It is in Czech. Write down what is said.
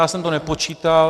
Já jsem to nepočítal.